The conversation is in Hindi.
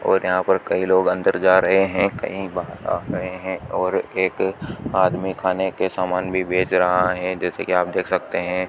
और यहां पर कई लोग अंदर जा रहे हैं कई बाहर आ रहे हैं और एक आदमी खाने के सामान भी बेच रहा है जैसे कि आप देख सकते हैं।